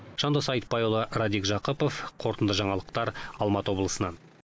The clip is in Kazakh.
жандос айтбайұлы радик жақыпов қорытынды жаңалықтар алматы облысынан